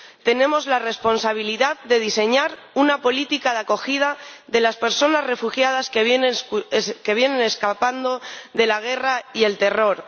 Tenemos la responsabilidad de diseñar una política de acogida de las personas refugiadas que vienen escapando de la guerra y el terror.